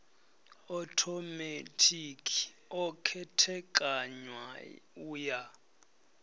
othomethikhi o khethekanywa u ya